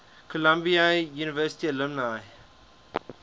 columbia university alumni